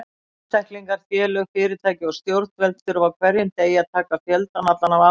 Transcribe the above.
Einstaklingar, félög, fyrirtæki og stjórnvöld þurfa á hverjum degi að taka fjöldann allan af ákvörðunum.